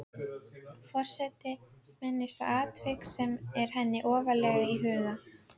Forseti minnist á atvik sem er henni ofarlega í huga.